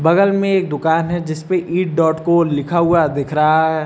बगल में एक दुकान है जिसपे ईट डॉट को लिखा हुआ दिख रहा है।